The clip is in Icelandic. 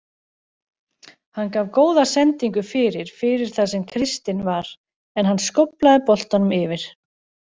Hann gaf góða sendingu fyrir fyrir þar sem Kristinn var en hann skóflaði boltanum yfir.